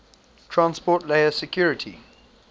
transport layer security